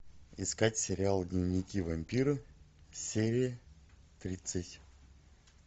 искать сериал дневники вампира серия тридцать